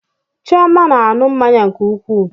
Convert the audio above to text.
Chioma na-aṅụ mmanya nke ukwuu